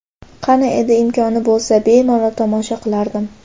Qani edi, imkoni bo‘lsa, bemalol tomosha qilardim.